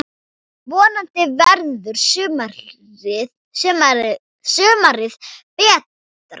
Vonandi verður sumarið betra!